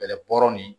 Bɛlɛ bɔrɔ ni